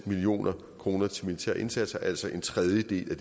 million kroner til militære indsatser altså en tredjedel af